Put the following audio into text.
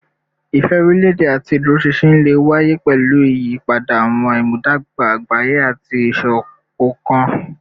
Ìfẹ́ orílẹ̀-èdè àti ìdúróṣinṣin lè wáyé pẹ̀lú ìyípadà àwọn ìmúdàgba àgbáyé àti ìsopọ̀ṣọ̀kan